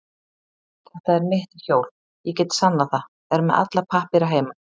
Þetta er mitt hjól, ég get sannað það, er með alla pappíra heima.